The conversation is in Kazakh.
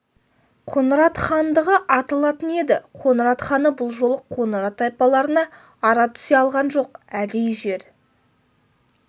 қоңырат хандығы аталатын еді қоңырат ханы бұл жолы қоңырат тайпаларына ара түсе алған жоқ әдейі жер